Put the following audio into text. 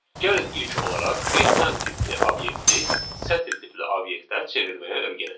Gəlin ilk olaraq datetime tipli obyekti sətr tipli obyektə çevirməyə öyrənək.